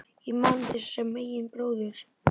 Ég man þig sem bróður.